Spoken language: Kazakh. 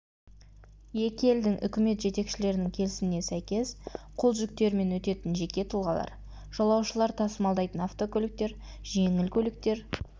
екі елдің үкімет жетекшілерінің келісіміне сәйкес қол жүктерімен өтетін жеке тұлғалар жолаушылар тасымалдайтын автокөліктер жеңіл автокөліктер